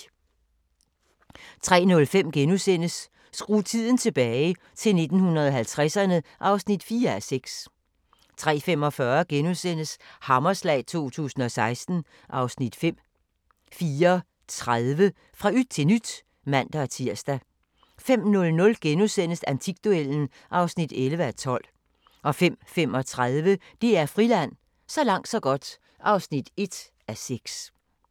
03:05: Skru tiden tilbage – til 1950'erne (4:6)* 03:45: Hammerslag 2016 (Afs. 5)* 04:30: Fra yt til nyt (man-tir) 05:00: Antikduellen (11:12)* 05:35: DR Friland: Så langt så godt (1:6)